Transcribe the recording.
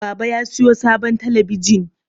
Baba ya sayo sabon talabijin.